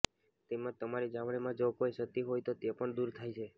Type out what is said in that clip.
તેમજ તમારી ચામડીમાં જો કોઈ ક્ષતિ હોય તો તે પણ દૂર થાય છે